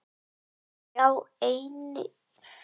Sjá einnig svar Einars Sigurbjörnssonar við sömu spurningu.